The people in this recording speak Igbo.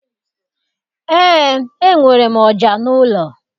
Eé, enwere m ọja n'ụlọ.